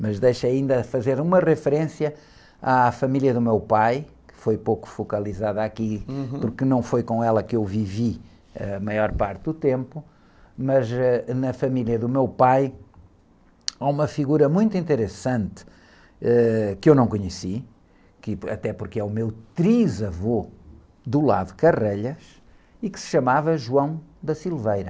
Mas deixa ainda fazer uma referência à família do meu pai, que foi pouco focalizada aqui...hum.orque não foi com ela que eu vivi a maior parte do tempo, mas, ãh, na família do meu pai há uma figura muito interessante, ãh, que eu não conheci, que, até porque é o meu trisavô do lado, e que se chamava.